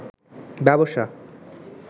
ব্যবসা